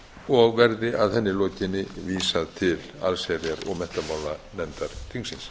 og verði að henni lokinni vísað til allsherjar og menntamálanefndar þingsins